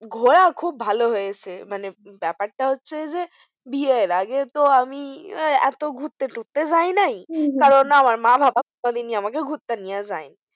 ঘোরা খুব ভালো হয়েছে মানে ব্যাপার টা হচ্ছে যে বিয়ের আগে তো আমি এতো ঘুরতে তুরতে যায়নাই, হম হম কারণ আমার মা বাবা কোনোদিন ঘুরতে নিয়ে যায়নি ।